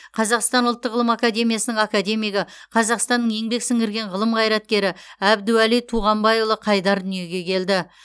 қазақстан ұлттық ғылым академиясының академигі қазақстанның еңбек сіңірген ғылым қайраткері әбдуәли туғанбайұлы қайдар дүниеге келді